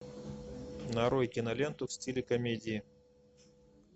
нарой киноленту в стиле комедии